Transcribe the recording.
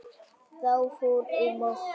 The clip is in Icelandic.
Þá fór um okkur.